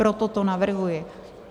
Proto to navrhuji.